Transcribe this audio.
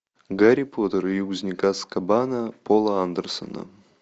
гарри поттер и узник азкабана пола андерсона